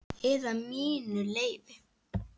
Eða mínu leyfi.